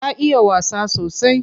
Ta iya wasa sosai.